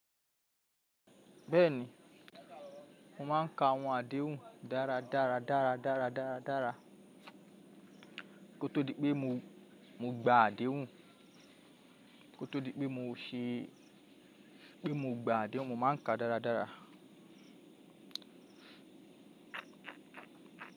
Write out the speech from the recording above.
Bẹ́ẹ̀ ni, mo máa ń ka àwọn àdéhùn dáradára dáradára dáradára dáradára. Kó tó di pé mo, mo gba àdéhùn, kó tó di pé mo ṣe, pé mo gba àdéhùn, mo máa ń ka dáradára.